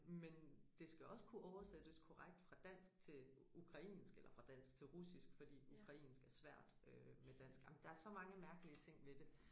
Men det skal også kunne oversættes korrekt fra dansk til ukrainsk eller fra dansk til russisk fordi ukrainsk er svært øh med dansk ej men der er så mange mærkelige ting ved det